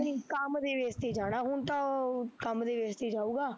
ਨਹੀਂ ਕੰਮ ਦੇ base ਤੇ ਜਾਣਾ ਹੁਣ ਤਾਂ ਉਹ, ਕੰਮ ਦੇ base ਤੇ ਈ ਜਾਊਗਾ